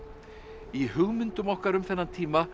í hugmyndum okkar um þennan tíma